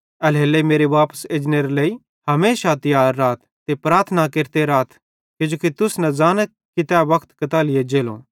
एल्हेरेलेइ मेरे वापस एजनेरे लेइ हमेशा तियार राथ ते प्रार्थना केरते राथ किजोकि तुस न ज़ानथ कि तै वक्त कताली एज्जलो